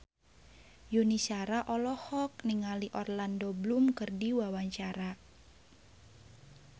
Yuni Shara olohok ningali Orlando Bloom keur diwawancara